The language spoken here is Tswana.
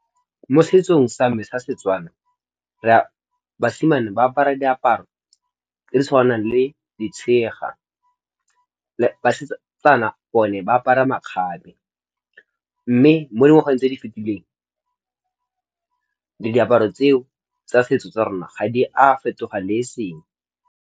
Mo setsong sa me sa Setswana re a basimane ba apara diaparo tse tshwanang le ditshega basetsana gore le ba apara makgabe, mme mo dingwageng tse di fetileng le diaparo tseo tsa setso tsa rona ga di a fetogang le e seng.